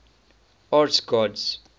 arts gods